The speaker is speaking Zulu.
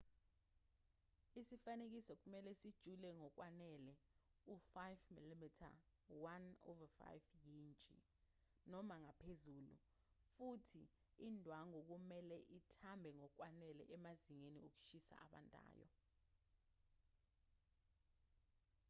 isifanekiso kumelwe sijule ngokwanele u-5 mm 1/5 yintshi noma ngaphezulu futhi indwangu kumelwe ithambe ngokwanele emazingeni okushisa abandayo